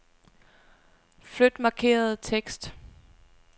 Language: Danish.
Flyt markerede tekst.